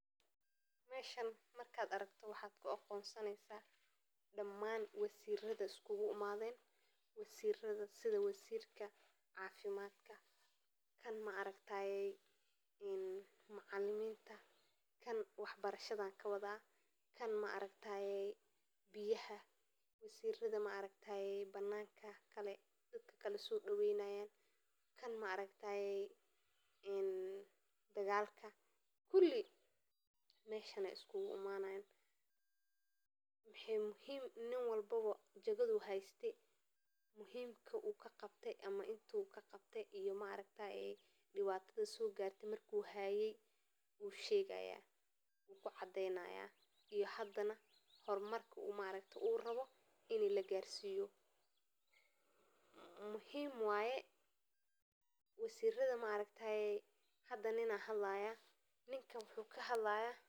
Golaha degmada waa urur siyaasadeed oo ka kooban xubno loo doortay si ay u matalaan dadweynaha degmada, waxaana uu leeyahay awoodo muhiim ah oo ku saabsan maamulka iyo horumarinta gobolka, sida qorshaynta miisaaniyadda, ansixinta shuruudaha, iyo fulinta mashruucyada bulshada, gaar ahaan kuwa looga talagalay in lagu kordhiyo adeegyada dadweynaha sida caafimaadka, waxbarashada, iyo horumarinta waddooyinka, sidoo kale goluhu wuxuu ka shaqeeyaa in uu xaqiijiyo in sharcigu u adeegto dhammaan dadka degmada iyo in la ilaaliyo xuquuqda shacabka.